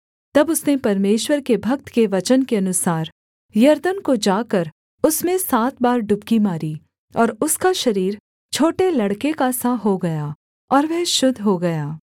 तब उसने परमेश्वर के भक्त के वचन के अनुसार यरदन को जाकर उसमें सात बार डुबकी मारी और उसका शरीर छोटे लड़के का सा हो गया और वह शुद्ध हो गया